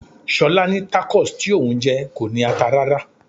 Ṣolá ní Tacos tí òun jẹ kò ní ata rárá.